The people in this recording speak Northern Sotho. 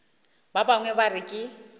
ba bangwe ba re ke